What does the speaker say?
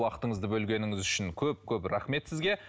уақытыңызды бөлгеніңіз үшін көп көп рахмет сізге